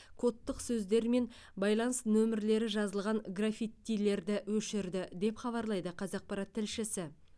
кодтық сөздер мен байланыс нөмірлері жазылған граффиттилерді өшірді деп хабарлайды қазақпарат тілшісі